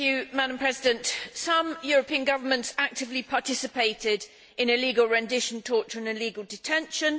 Madam President, some European governments actively participated in illegal rendition, torture and illegal detention.